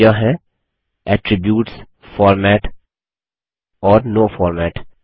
यह हैं attributesफॉर्मेट और नो फॉर्मेट